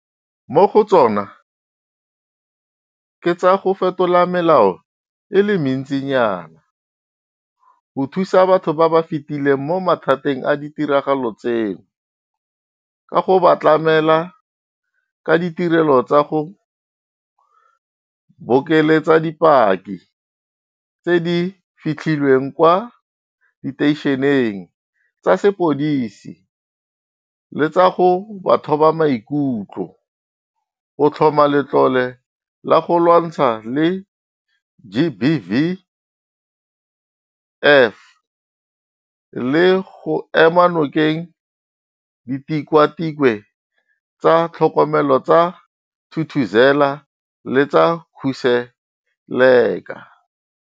Mo go tsona ke tsa go fetola melao e le mentsinyana, go thusa batho ba ba fetileng mo mathateng a ditiragalo tseno ka go ba tlamela ka ditirelo tsa go bokeletsa bopaki tse di fitlhelwang kwa diteišeneng tsa sepodisi le tsa go ba thoba maikutlo, go tlhoma letlole la go lwantshana le GBVF le go ema nokeng Ditikwatikwe tsa Tlhokomelo tsa Thuthuzela le tsa Khuseleka.